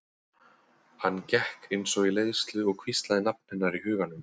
Hann gekk eins og í leiðslu og hvíslaði nafn hennar í huganum.